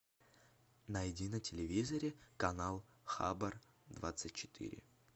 найди на телевизоре канал хабар двадцать четыре